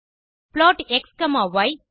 plot xய்